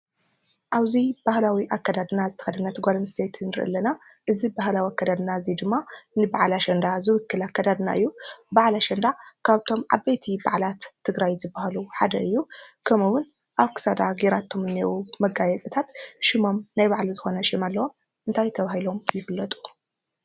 አብዚ ባህላዊ አከዳድና ዝተኸደነት ጓል አንስተይቲ ንርኢ አለና:: እዚ ባህላዊ አከዳድናን እዚ ድማ ንበዓል አሸንዳ ዝውክል አከዳድና እዩ። በዓል አሸንዳ ካብቶም ዓበይት በዓላት ትግራይ ዝበሃሉ ሓደ እዩ። ከምኡ እውን አብ ክሳዳ ገይራቶ ዝኒአው መጋየፅታት ሽሞም ናይ ባዕሉ ሽም አለዎ። እንታይ ተባሂሎም ይፍለጡ?